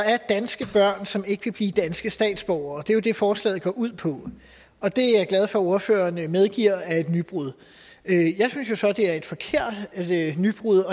er danske børn som ikke kan blive danske statsborgere det er jo det forslaget går ud på og det er jeg glad for at ordføreren medgiver er et nybrud jeg synes jo så det er et forkert nybrud